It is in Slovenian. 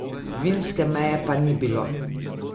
Vinske meje pa ni bilo.